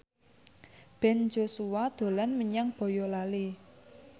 Ben Joshua dolan menyang Boyolali